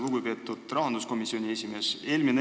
Lugupeetud rahanduskomisjoni esimees!